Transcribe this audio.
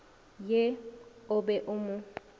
ye o be o mo